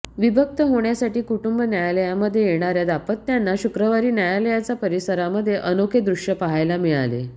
विभक्त होण्यासाठी कुटुंब न्यायालयामध्ये येणाऱ्या दाम्पत्यांना शुक्रवारी न्यायालयाचा परिसरामध्ये अनोखे दृश्य पाहायला मिळाले